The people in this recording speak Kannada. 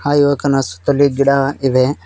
ಆ ಯುವಕನ ಸುತ್ತಲೂ ಗಿಡ ಇವೆ.